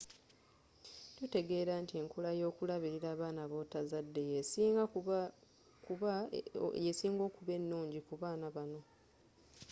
tutegeela nti enkola yokulabilira abaana botazadde yesinga okuba enungi kubaana banno